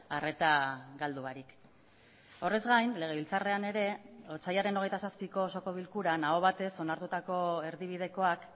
arreta galdu barik horrez gain legebiltzarrean ere otsailaren hogeita zazpiko osoko bilkuran aho batez onartutako erdibidekoak